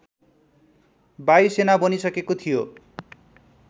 वायुसेना बनिसकेको थियो